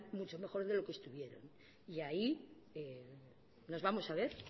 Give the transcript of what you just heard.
mucho mejor de lo que estuvieron y ahí nos vamos a ver